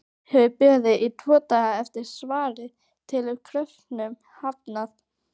Hefur beðið tvo daga eftir svari- telur kröfunum hafnað!